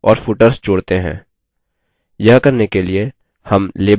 यह करने के लिए हम label field icon पर click करेंगे